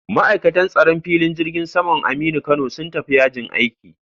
Ma'aikatan tsaron filin jirgin saman Aminu Kano sun tafi yajin aiki